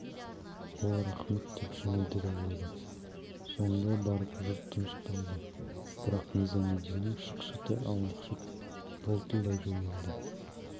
ол рақмет деп жымиды да қойды сонда барып жұрт тынышталды бірақ низамеддиннің шықшыты аунақшып бұлтылдай жөнелді